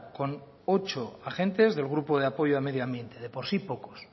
con ocho agentes del grupo de apoyo al medioambiente de por sí pocos